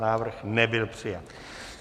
Návrh nebyl přijat.